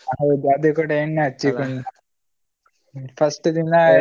ಹೌದು ಅದು ಕೂಡ ಎಣ್ಣೆ ಹಚ್ಚಿಕೊಂಡು first ದಿನಾ.